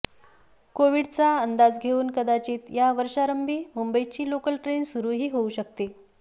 कोविडचा अंदाज घेऊन कदाचित या वर्षारंभी मुंबईची लोकल ट्रेन सुरूही होऊ शकेल